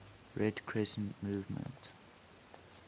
red crescent movement